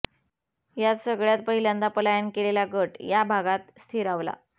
यात सगळ्यांत पहिल्यांदा पलायन केलेला गट या भागात स्थिरावला